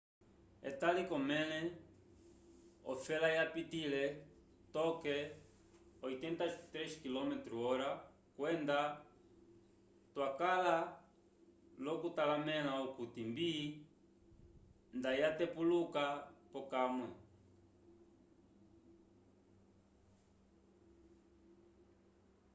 etali k'omẽle ofela yapitĩle toke ko 83 km/h kwenda twakala l'okutalamẽla okuti mbi nda yatepuluka pokamwe